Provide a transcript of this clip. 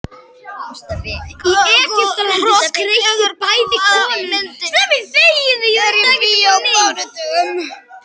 Hrollaugur, hvaða myndir eru í bíó á mánudaginn?